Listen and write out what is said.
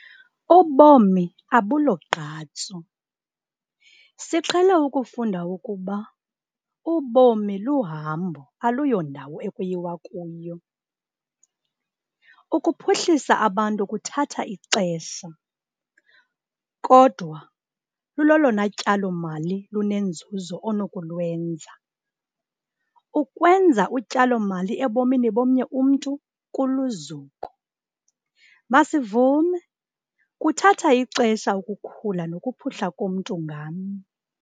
Ubomi abulogqatso - siqhele ukufunda ukuba "ubomi luhambo aluyondawo ekuyiwa kuyo". Ukuphuhlisa abantu kuthatha ixesha, kodwa lulolona tyalo-mali lunenzuzo onokulwenza. Ukwenza utyalo-mali ebomini bomnye umntu kuluzuko. Masivume kuthathe ixesha ukukhula nokuphuhla komntu ngamnye.